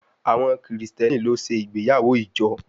Àwọn Kristẹni ló ṣe ìgbéyàwó ìjọ